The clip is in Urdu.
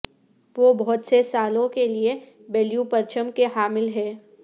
وہ بہت سے سالوں کے لئے بلیو پرچم کے حامل ہیں